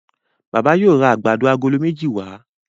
Bàbá yóò rá àgbàdo Àgòló méjì wa.